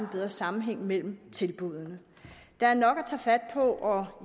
bedre sammenhæng mellem tilbuddene der er nok at tage fat på og